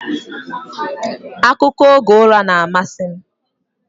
Akụkọ oge ụra na-amasị m